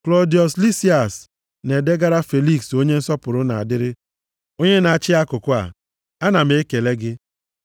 Klọdiọs Lisias, Na-edegara Feliks onye nsọpụrụ na-adịrị, onye na-achị akụkụ a. Ana m ekele gị.